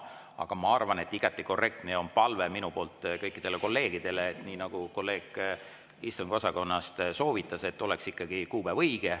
Aga ma arvan, et igati korrektne on see, nagu on minu palve kõikidele kolleegidele ja nagu kolleeg istungiosakonnast soovitas, et märgitud oleks ikkagi õige kuupäev.